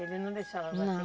Ele não deixava bater? Não